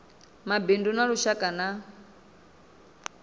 mabindu a lushaka na a